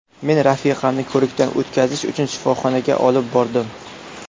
Men rafiqamni ko‘rikdan o‘tkazish uchun shifoxonaga olib bordim.